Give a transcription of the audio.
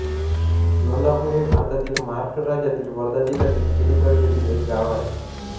लोंधापूर हे भारतातील महाराष्ट्र राज्यातील वर्धा जिल्ह्यातील सेलू तालुक्यातील एक गाव आहे